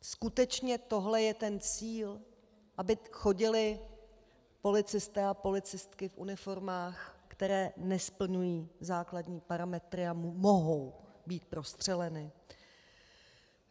Skutečně tohle je ten cíl, aby chodili policisté a policistky v uniformách, které nesplňují základní parametry a které mohou být prostřeleny?